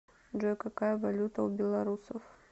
джой какая валюта у белорусов